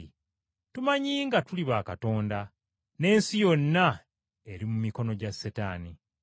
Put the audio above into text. Tumanyi nga tuli ba Katonda, n’ensi yonna eri mu mikono gya Setaani.